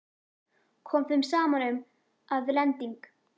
Kom þeim saman um, að lending